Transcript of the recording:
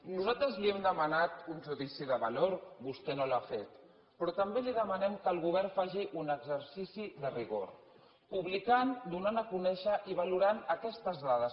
nosaltres li hem demanat un judici de valor vostè no l’ha fet però també li demanem que el govern faci un exercici de rigor publicant donant a conèixer i valorant aquestes dades